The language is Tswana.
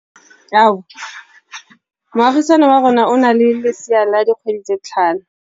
Moagisane wa rona o na le lesea la dikgwedi tse tlhano.